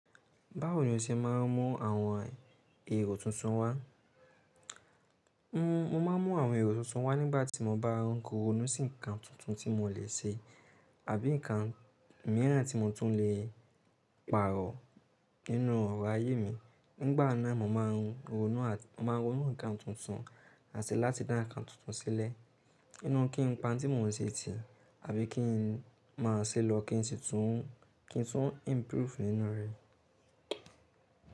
Báwo ni o ṣe máa ń mú àwọn èrò tuntun wá? Ǹ, mo máa ń mú àwọn èrò tuntun wá nígbà tí mo bá ń ronú sí nǹkan tuntun tí mo lè ṣe àbí nǹkan mìíràn tí mo tún lè pàrọ̀ nínú ọ̀rọ̀ ayé mi. Nígbà náà mo máa ń ronú àti, mo máa ń ronú nǹkan tuntun àti láti dá nǹkan tuntun sílẹ̀ nínú kí n pa tí mòún ṣe tì àbí kí n máa ṣe lọ kí n sì tún, kí n tún improve nínú rẹ̀.